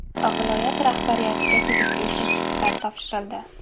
Viloyat rahbariyatiga tegishli sertifikat topshirildi.